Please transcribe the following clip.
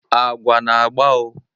agwa na-agba o